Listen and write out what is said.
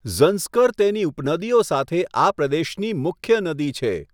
ઝંસ્કર તેની ઉપનદીઓ સાથે આ પ્રદેશની મુખ્ય નદી છે.